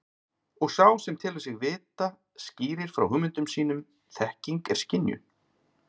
Og sá sem telur sig vita skýrir frá hugmyndum sínum þekking er skynjun.